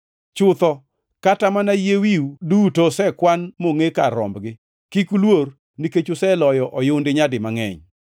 Chutho, kata mana yie wiu duto osekwan mongʼe kar rombgi. Kik uluor, nikech uloyo oyundi nyadi mangʼeny.